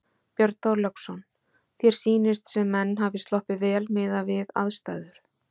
Björn Þorláksson: Þér sýnist sem menn hafi sloppið vel miðað við aðstæður?